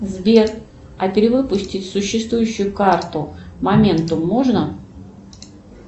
сбер а перевыпустить существующую карту моментум можно